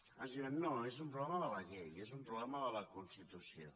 ens diuen no és un problema de la llei és un problema de la constitució